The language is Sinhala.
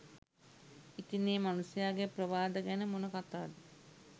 ඉතින් ඒ මනුස්සයාගේ ප්‍රවාද ගැන මොන කතාද